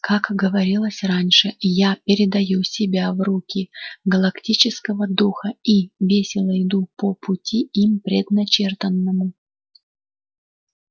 как говорилось раньше я передаю себя в руки галактического духа и весело иду по пути им предначертанному